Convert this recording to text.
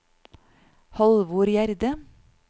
Halvor Gjerde